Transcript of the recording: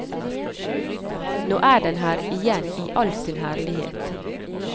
Nå er den her igjen i all sin herlighet.